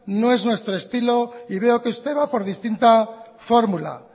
no es nuestro estilo y veo que usted va por distinta fórmula